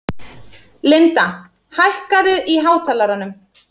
Linda, hækkaðu í hátalaranum.